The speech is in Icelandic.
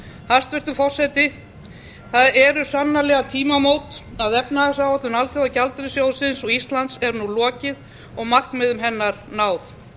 hæstvirtur forseti það eru sannarlega tímamót að efnahagsáætlun alþjóðagjaldeyrissjóðsins og íslands er nú lokið og markmiðum hennar náð